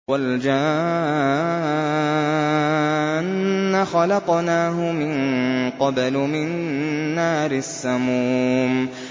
وَالْجَانَّ خَلَقْنَاهُ مِن قَبْلُ مِن نَّارِ السَّمُومِ